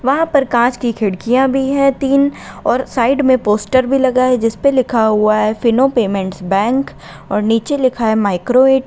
वहाँ पर काँच की खिड़कियां भी हैं तीन और साइड में पोस्टर भी लगा है जिस पे लिखा हुआ है फिनो पेमेंट्स बैंक और नीचे लिखा है माइक्रो --